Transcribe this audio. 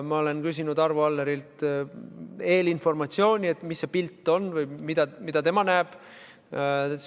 Ma olen küsinud Arvo Allerilt eelinformatsiooni, et milline see pilt on, mida tema näeb.